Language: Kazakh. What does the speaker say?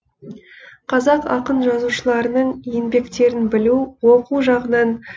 қазақ ақын жазушыларының еңбектерін білу оқу жағынан